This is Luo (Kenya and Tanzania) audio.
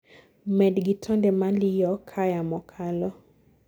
med gi tonde maliyo kaa yamo kalo